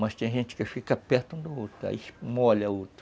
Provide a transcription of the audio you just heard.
Mas tem gente que fica perto um do outro, aí molha o outro.